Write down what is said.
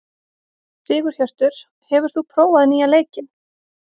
Sigurhjörtur, hefur þú prófað nýja leikinn?